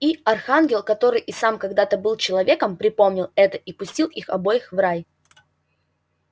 и архангел который и сам когда-то был человеком припомнил это и пустил их обоих в рай